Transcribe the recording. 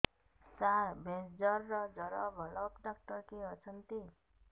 ସାର ଭେଷଜର ଭଲ ଡକ୍ଟର କିଏ ଅଛନ୍ତି